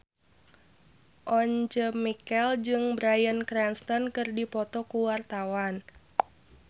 Once Mekel jeung Bryan Cranston keur dipoto ku wartawan